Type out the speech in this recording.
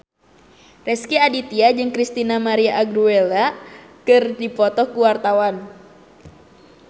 Rezky Aditya jeung Christina María Aguilera keur dipoto ku wartawan